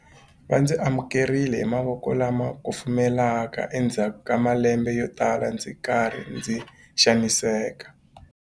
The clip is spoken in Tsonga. Va ndzi amukerile hi mavoko lama kufumelaka endzhaku ka malembe yotala ndzi ri karhi ndzi xaniseka.